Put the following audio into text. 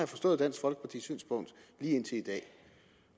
forstået dansk folkepartis synspunkt